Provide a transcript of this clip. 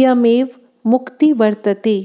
इयमेव मुक्तिर्वर्तते